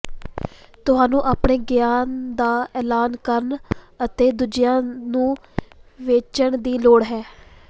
ਤੁਹਾਨੂੰ ਆਪਣੇ ਗਿਆਨ ਦਾ ਐਲਾਨ ਕਰਨ ਅਤੇ ਦੂਜਿਆਂ ਨੂੰ ਵੇਚਣ ਦੀ ਲੋੜ ਹੈ